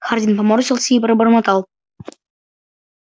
хардин поморщился и пробормотал